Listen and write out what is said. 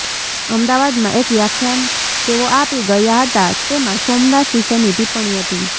અમદાવાદમાં એક વ્યાખ્યાન તેઓ આપી ગયા હતા તેમાં સોમનાથ વિશેની ટિપ્પણી હતી